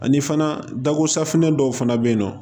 Ani fana dako safinɛ dɔw fana bɛ yen nɔ